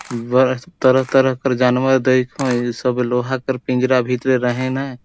तरह -तरह कर जानवर दईख इ सब लोहा के पिंजरा भीतरे रहीन ह।